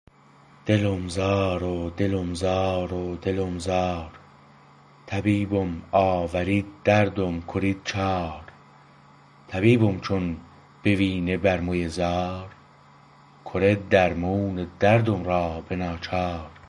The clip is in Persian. دلم زار و دلم زار و دلم زار طبیبم آورید دردم کرید چار طبیبم چون بوینه برموی زار کره درمون دردم را به ناچار